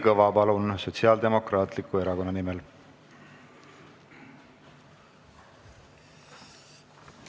Kalvi Kõva, palun, Sotsiaaldemokraatliku Erakonna nimel!